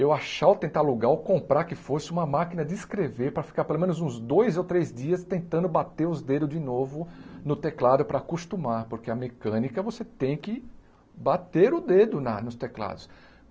eu achar ou tentar alugar ou comprar que fosse uma máquina de escrever para ficar pelo menos uns dois ou três dias tentando bater os dedos de novo no teclado para acostumar, porque a mecânica você tem que bater o dedo na nos teclados.